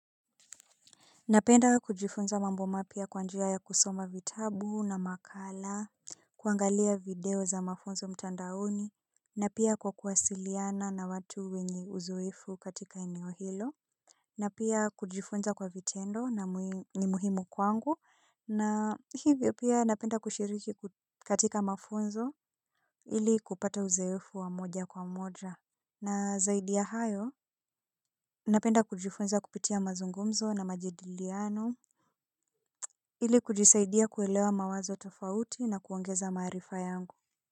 Napenda kujifunza mambo mapya kwa njia ya kusoma vitabu na makala, kuangalia video za mafunzo mtandaoni, na pia kwa kuwasiliana na watu wenye uzoefu katika eneo hilo. Na pia kujifunza kwa vitendo ni muhimu kwangu, na hivyo pia napenda kushiriki katika mafunzo ili kupata uzoefu wa moja kwa moja. Na zaidi ya hayo, napenda kujifunza kupitia mazungumzo na majidiliano. Ili kujisaidia kuelewa mawazo tofauti na kuongeza maarifa yangu.